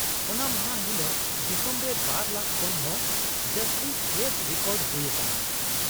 -ᱚᱱᱟ ᱢᱟᱦᱟ ᱦᱤᱞᱳᱜ ᱫᱤᱥᱚᱢ ᱨᱮ ᱵᱟᱨ ᱞᱟᱠᱷ ᱠᱷᱚᱱ ᱦᱚᱸ ᱡᱟᱹᱥᱛᱤ ᱠᱮᱥ ᱨᱮᱠᱚᱨᱰ ᱦᱩᱭ ᱟᱠᱟᱱᱟ ᱾